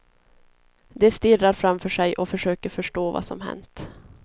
De stirrar framför sig och försöker förstå vad som hänt.